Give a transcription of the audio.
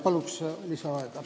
Palun lisaaega!